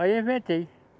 Aí eu inventei.